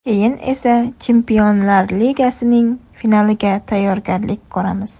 Keyin esa Chempionlar ligasining finaliga tayyorgarlik ko‘ramiz.